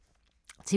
TV 2